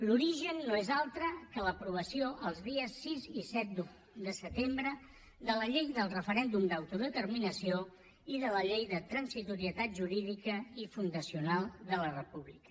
l’origen no és altre que l’aprovació els dies sis i set de setembre de la llei del referèndum d’autodeterminació i de la llei de transitorietat jurídica i fundacional de la república